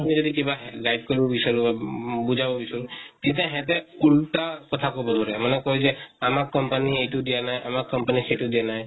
আপুনি যদি কিবা guide কৰিব বিচাৰো উম বা বুজাব বিচাৰো, তেতিয়া সেহেঁতে উল্তা কথা কʼব ধৰে মানে কয় যে, আমাক company য়ে এইটো দিয়া নাই , আমাক company য়ে সেইটো দিয়া নাই ।